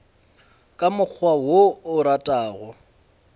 ka mokgwa wo o ratago